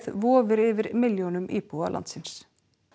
vofir yfir milljónum íbúa landsins